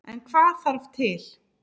En hvað þarf til.